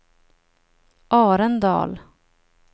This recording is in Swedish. Arendal